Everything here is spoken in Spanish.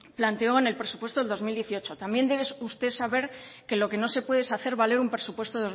planteó en el presupuesto del dos mil dieciocho también debe usted saber que lo que no se puede es hacer valer un presupuesto